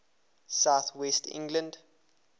south west england